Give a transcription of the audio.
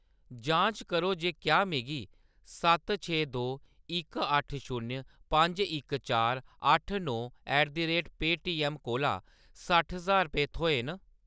जांच करो जे क्या मिगी सत्त छे दो इक अट्ठ शून्य पंज इक चार अट्ठ नौ ऐट द रेट पेऽटीएम कोला सट्ठ ज्हार रपेऽ थ्होए न।